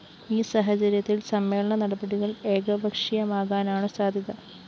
ഈ സാഹചര്യത്തില്‍ സമ്മേളന നടപടികള്‍ ഏകപക്ഷീയമാകാനാണു സാദ്ധ്യത